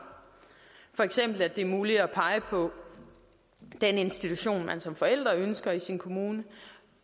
for eksempel at det er muligt at pege på den institution man som forælder ønsker i sin kommune